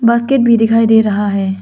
Basket भी दिखाई दे रहा है।